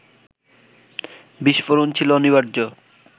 বিস্ফোরণ ছিল অনিবার্য